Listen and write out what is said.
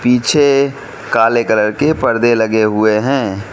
पीछे काले कलर के परदे लगे हुए हैं।